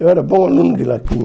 Eu era bom aluno de latim.